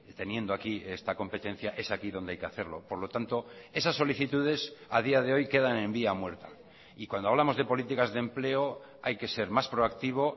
teniendo aquí esta competencia es aquí donde hay que hacerlo por lo tanto esas solicitudes a día de hoy quedan en vía muerta y cuando hablamos de políticas de empleo hay que ser más proactivo